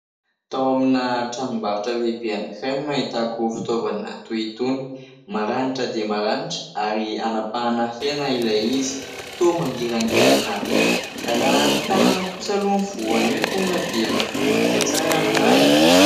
Tao amina tranombarotra lehibe anankiray no nahitako fitaovana toy itony. Maranitra dia maranitra ary anapahana hena ilay izy, toa mangirangirana be. Raha ny tanana kosa aloha no voa an'io tonga dia miforitika tsara ny ra e !